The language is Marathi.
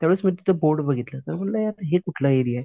त्यावेळेस मी तिथं बोर्ड बघितलं मग म्हणलं यार हे कुठलं एरिया आहे?